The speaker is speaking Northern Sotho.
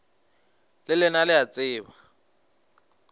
le lena le a tseba